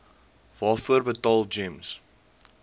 waarvoor betaal gems